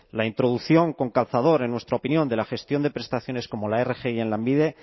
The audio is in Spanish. la introducción con calzador en nuestra opinión de la gestión de prestaciones como la rgi en lanbide